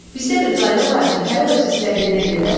Bizdə bir qayda var ki, hərə öz istədiyinə gedər.